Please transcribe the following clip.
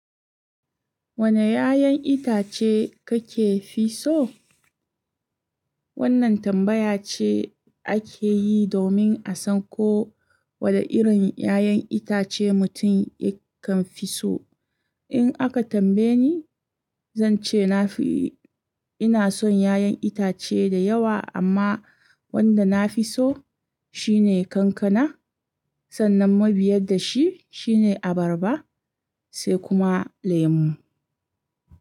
Wane 'ya'yan itace kake fi so? Wannan tambaya ce ake yi domin a san ko wane irin 'ya'yan itace mutum yakan fi so. In aka tambaye ni, zan ce na fi, ina son 'ya'yan itace da yawa amma wanda na fi so shine kankana. Sannan mabiyar da shi shine abarba sai kuma lemu.